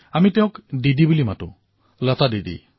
আমি তেওঁক দিদি বুলি কও লতা দিদি